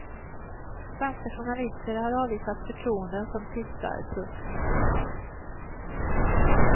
Svenska journalister har avvisat förtroenden som tystar. punkt